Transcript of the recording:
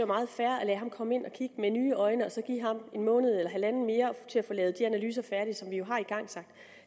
meget fair at lade ham komme ind og kigge med nye øjne og så give ham en måned eller halvanden mere til at få lavet de analyser færdige som vi jo har igangsat